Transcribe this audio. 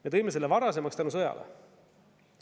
Me tõime selle varasemaks tänu sõjale.